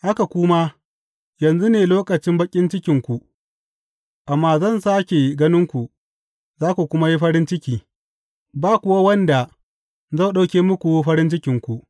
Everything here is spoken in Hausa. Haka ku ma, yanzu ne lokacin baƙin cikinku, amma zan sāke ganinku za ku kuma yi farin ciki, ba kuwa wanda zai ɗauke muku farin cikinku.